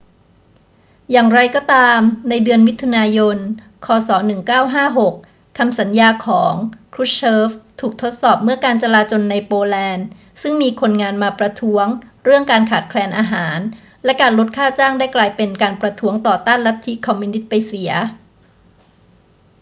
อย่างไรก็ตาม ในเดือนมิถุนายน ค. ศ. 1956 คำสัญญาของ krushchev ถูกทดสอบเมื่อการจลาจลในโปแลนด์ซึ่งมีคนงานมาประท้วงเรื่องการขาดแคลนอาหารและการลดค่าจ้างได้กลายเป็นการประท้วงต่อต้านลัทธิคอมมิวนิสต์ไปเสีย